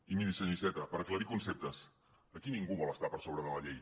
i miri senyor iceta per aclarir conceptes aquí ningú vol estar per sobre de la llei